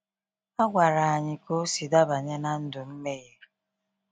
A gwara anyị ka o sị dabanye na ndụ mmeghe.